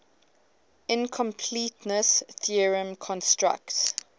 incompleteness theorem constructs